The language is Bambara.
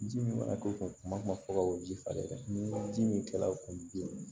Ji min mana k'o kun fɔ ka bɔ o ji farinya ni ji min kɛlaw kun bi